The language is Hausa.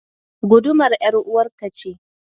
Gudumar ƴaruwar ka ce.